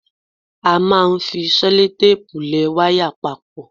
A máa ń fi sẹ́lótéèpù lẹ wáyà papọ̀.